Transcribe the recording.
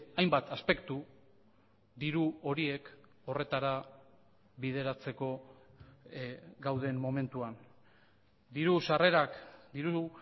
hainbat aspektu diru horiek horretara bideratzeko gauden momentuan diru sarrerak diru